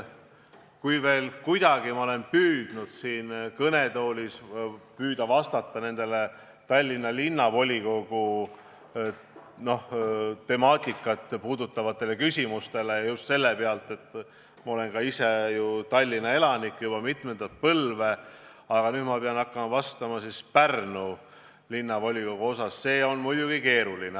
Kui ma veel kuidagi olen püüdnud siin kõnetoolis vastata neile Tallinna Linnavolikogu puudutavatele küsimustele – sest ma olen ju ka ise juba mitmendat põlve Tallinna elanik –, siis nüüd, kui pean hakkama vastama Pärnu Linnavolikogu puudutavatele küsimustele, läheb mul küll keeruliseks.